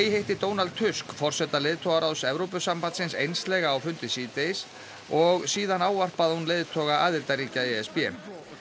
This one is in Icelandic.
hitti Donald Tusk forseta leiðtogaráðs Evrópusambandsins einslega á fundi síðdegis og síðan ávarpaði hún leiðtoga aðildarríkja e s b